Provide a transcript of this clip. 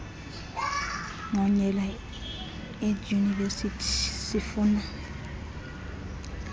ngqonyela eedyunivesithi sifuna